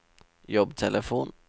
jobbtelefon